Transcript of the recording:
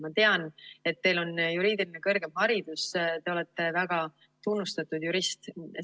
Ma tean, et teil on juriidiline kõrgem haridus, te olete väga tunnustatud jurist.